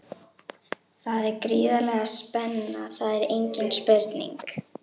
Það er gríðarleg spenna, það er engin spurning.